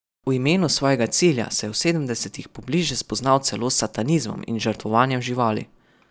V imenu svojega cilja se je v sedemdesetih pobliže spoznal celo s satanizmom in žrtvovanjem živali.